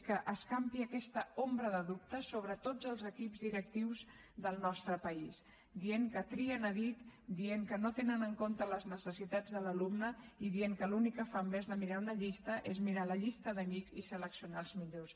que escampi aquesta ombra de dubtes sobre tots els equips directius del nostre país dient que trien a dit dient que no tenen en compte les necessitats de l’alumne i dient que l’únic que fan en lloc de mirar una llista és mirar la llista d’amics i seleccionar els millors